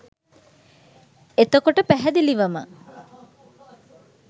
එතකොට පැහැදිලිවම